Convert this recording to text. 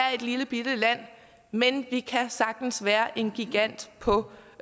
er et lillebitte land men vi kan sagtens være en gigant på